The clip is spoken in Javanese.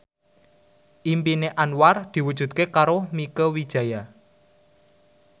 impine Anwar diwujudke karo Mieke Wijaya